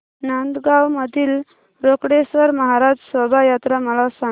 नांदगाव मधील रोकडेश्वर महाराज शोभा यात्रा मला सांग